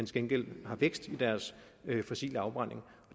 gengæld har vækst i deres fossile afbrænding